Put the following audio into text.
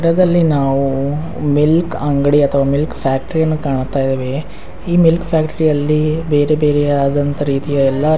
ಟದಲ್ಲಿ ನಾವು ಮಿಲ್ಕ್ ಅಂಗಡಿ ಅಥವಾ ಮಿಲ್ಕ್ ಫ್ಯಾಕ್ಟರಿ ಯನ್ನು ಕಾಣುತ್ತಯಿದ್ದೆವೇ ಈ ಮಿಲ್ಕ್ ಫ್ಯಾಕ್ಟರಿಯಲ್ಲಿ ಬೇರೆ ಬೇರೆ ಯಾದಂತಹ ಎಲ್ಲ ರೀತಿಯ ಎಲ್ಲ --